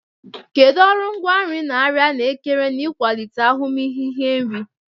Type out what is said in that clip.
Kedu ọrụ ngwaa nri na arịa na-ekere n'ịkwalite ahụmịhe iri nri?